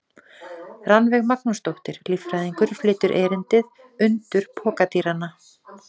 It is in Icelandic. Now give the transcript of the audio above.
Rannveig Magnúsdóttir, líffræðingur, flytur erindið: Undur pokadýranna.